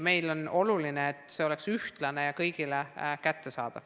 Meile on oluline, et info oleks ühtlane ja kõigile kättesaadav.